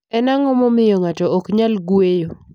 Eni anig'o mamiyo nig'ato ok niyal nig'weyo?